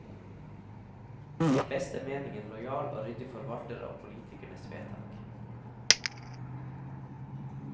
I beste mening en lojal og ryddig forvalter av politikernes vedtak.